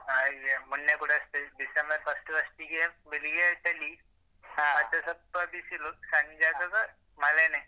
ಹ ಮೊನ್ನೆ ಕೂಡ ಅಷ್ಟೇ ಡಿಸೆಂಬರ್ first first ಗೆ ಬೆಳಿಗ್ಗೆ ಚಳಿ ಮತ್ತೆ ಸ್ವಲ್ಪ ಬಿಸಿಲು ಸಂಜೆ ಆಗುವಾಗ ಮಳೆನೇ.